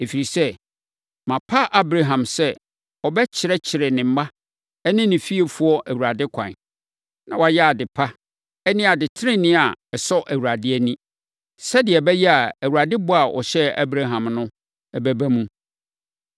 Ɛfiri sɛ, mapa Abraham sɛ ɔbɛkyerɛkyerɛ ne mma ne ne fiefoɔ Awurade kwan. Na wɔayɛ ade pa ne ade tenenee a ɛsɔ Awurade ani. Sɛdeɛ ɛbɛyɛ a Awurade bɔ a ɔhyɛɛ Abraham no bɛba mu.”